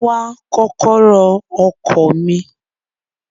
Mo ń wá kọ́kọ́rọ́ ọkọ̀ mi.